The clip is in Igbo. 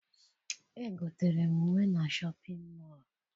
Egotere m uwe na shọpịn mọọ